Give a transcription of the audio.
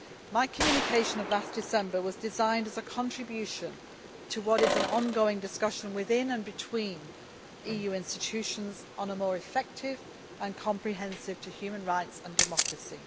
My Communication of last December was designed as a contribution to what is an ongoing discussion within and between EU institutions on a more effective and comprehensive approach to human rights and democracy.